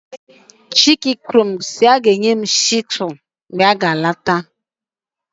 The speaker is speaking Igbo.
chike kwuru na ya ga-enwetara m chisuu ọhụrụ ma ọ lọghachite